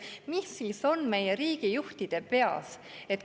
Mis siis on meie riigijuhtide peas?